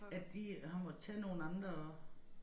At de har måttet tage nogle andre